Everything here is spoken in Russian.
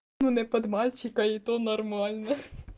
ну не под мальчика и то нормально